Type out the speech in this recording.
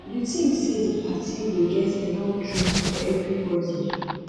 you think say di party go get enough drinks for everybody